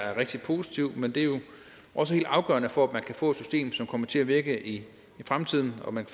er rigtig positivt men det er jo også helt afgørende for at man kan få et system som kommer til at virke i fremtiden at man